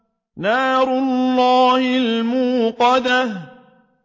نَارُ اللَّهِ الْمُوقَدَةُ